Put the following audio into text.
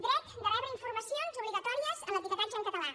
dret de rebre informacions obligatòries en l’etiquetatge en català